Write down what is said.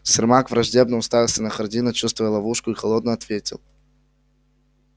сермак враждебно уставился на хардина чувствуя ловушку и холодно ответил